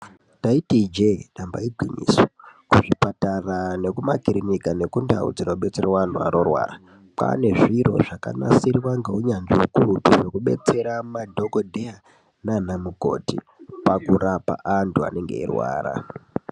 Ndaiti ijee, damba igwinyiso, kuzvipatara nekumakirinika, nekundau dzinobetserwa anhu anorwara, kwaane zviro zvakanasirwa ngounyanzvi ukurutu, zvekubetsera madhokodheya, naanamukoti, pakurapa antu anenge eirwara.